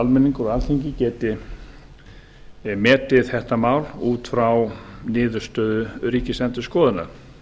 almenningur og alþingi geti metið þetta mál út frá niðurstöðu ríkisendurskoðunar